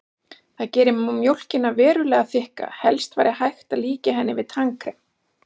Það gerir mjólkina verulega þykka, helst væri hægt að líkja henni við tannkrem.